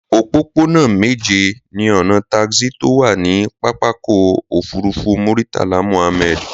Òpópónà méje ni ọnà taxi tó wà ní pápákọ̀ òfurufú Muritala Muhammad